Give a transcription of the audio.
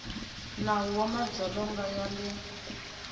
nawu wa madzolonga ya le